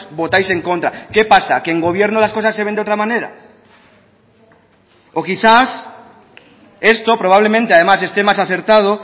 votáis en contra qué pasa que en gobierno las cosas se ven de otra manera o quizás esto probablemente además esté más acertado